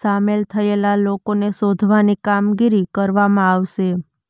સામેલ થયેલા લોકોને શોધવાની કામગીરી કરવામાં આવશે